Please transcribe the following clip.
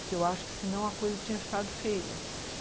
Porque eu acho que senão a coisa tinha ficado feia.